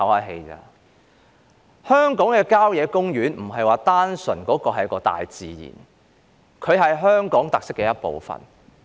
香港的郊野公園並非單純是大自然，而是香港特色的一部分。